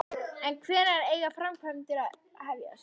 En hvenær eiga framkvæmdir að hefjast?